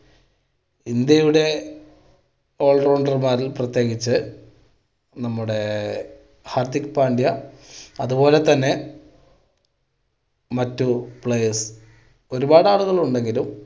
ഇന്ത്യയുടെ all rounder മാർ പ്രത്യേകിച്ച് നമ്മുടെ ഹാർദിക്ക് പാണ്ഡ്യ അത് പോലെ തന്നെ മറ്റ് players. ഒരുപാട് ആളുകൾ ഉണ്ടെങ്കിലും